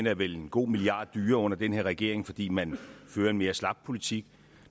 er vel en god milliard dyrere under den her regering fordi man fører en mere slap politik